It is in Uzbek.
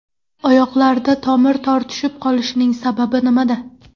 Oyoqlarda tomir tortishib qolishining sababi nimada?